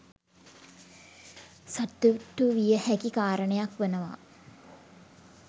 සතුටු විය හැකි කාරණයක් වනවා